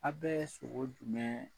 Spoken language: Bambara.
Aw bɛ sogo dun mɛn.